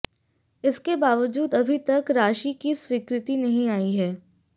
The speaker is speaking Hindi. इसके बावजूद अभी तक राशि की स्वीकृति नहीं आई है